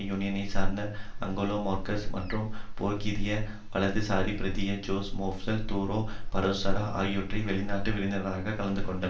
யூனியனை சார்ந்த Angela Merkel மற்றும் போர்த்துகீசிய வலதுசாரி பிரதிநிதி ஜோஸ் மேனுவல் துரோ பரோசோ ஆகியோர் வெளிநாட்டு விருந்தினர்களாக கலந்துகொண்டன